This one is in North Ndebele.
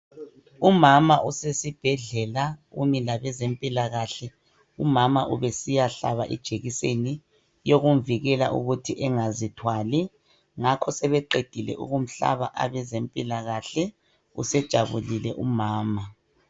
Umama usesibhedlela umi labeze mpilakahle umama ubesiya hlaba ijekiseni yokumvikela ukuthi engazithwali ngakho sebeqedile ukumhlaba abezempilakahle usejabulile umama.